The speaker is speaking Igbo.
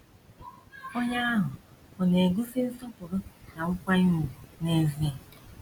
Onye ahụ ọ̀ na - egosi nsọpụrụ na nkwanye ùgwù n’ezie?